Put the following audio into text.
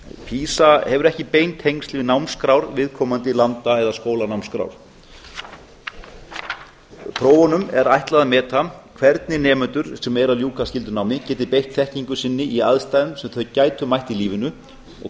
pisa hefur ekki bein tengsl við námskrár viðkomandi landa eða skólanámskrár prófunum er ætlað að meta hvernig nemendur sem eru að ljúka skyldunámi geti beitt þekkingu sinni í aðstæðum sem þau gætu mætt í lífinu og